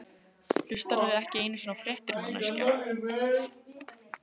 Hlustarðu ekki einu sinni á fréttir, manneskja?